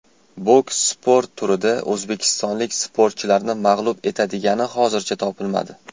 Boks sport turida o‘zbekistonlik sportchilarni mag‘lub etadigani hozircha topilmadi.